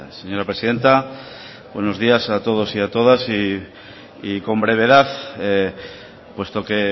señora presidenta buenos días a todos y a todas y con brevedad puesto que